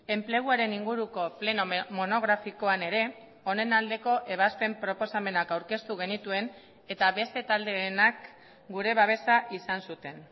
enpleguaren inguruko pleno monografikoan ere honen aldeko ebazpen proposamenak aurkeztu genituen eta beste taldeenak gure babesa izan zuten